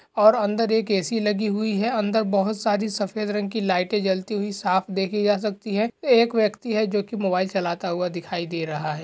और अंदर एक ए सी लगी हुई है। अंदर बोहत सारी सफ़ेद रंग की लाइटें जलती हुई साफ देखी जा सकतीं हैं। एक व्यक्ति है जोकि मोबाइल चलाता हुआ दिखाई दे रहा है।